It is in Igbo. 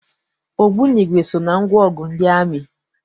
Ogbunigwe so na ngwaọgụ ndị amị.